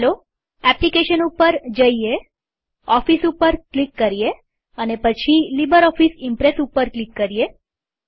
ચાલો એપ્લીકેશન ઉપર જઈએઓફીસ ઉપર ક્લિક કરીએ પછી લીબરઓફીસ ઈમ્પ્રેસ ઉપર ક્લિક કરીએ